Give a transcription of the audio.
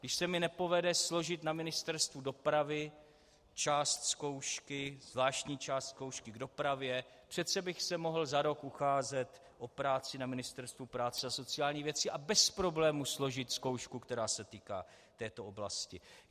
Když se mi nepovede složit na Ministerstvu dopravy část zkoušky, zvláštní část zkoušky k dopravě, přece bych se mohl za rok ucházet o práci na Ministerstvu práce a sociálních věcí a bez problémů složit zkoušku, která se týká této oblasti.